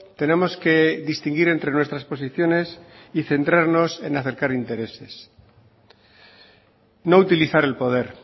tenemos que distinguir entre nuestras posiciones y centrarnos en acercar intereses no utilizar el poder